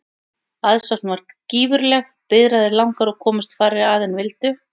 Aðsókn varð gífurleg, biðraðir langar og komust færri að en vildu.